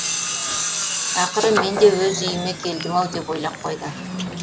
ақыры мен де өз үйіме келдім ау деп ойлап қойды